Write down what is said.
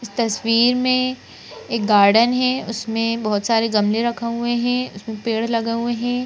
तस्वीर में एक गार्डन है उसमें बहोत सारे गमले रखा हुए है उसमें पेड़ लग हुए हैं।